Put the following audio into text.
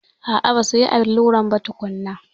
A'a, basuyi alluran ba tukunna.